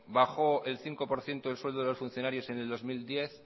bajó el cinco por ciento el sueldo de los funcionarios en el dos mil diez